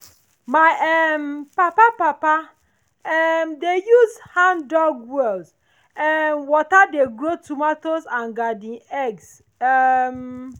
my um papa papa um dey use hand-dug well um water dey grow tomatoes and garden eggs. um